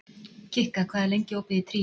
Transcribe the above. Kikka, hvað er lengi opið í Tríó?